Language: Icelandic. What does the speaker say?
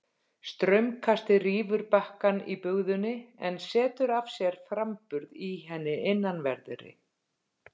Straumkastið rýfur bakkann í bugðunni en setur af sér framburð í henni innanverðri.